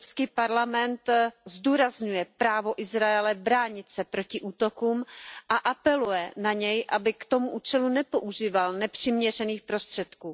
Evropský parlament zdůrazňuje právo Izraele bránit se proti útokům a apeluje na něj, aby k tomu účelu nepoužíval nepřiměřených prostředků.